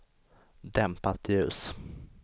dämpat ljus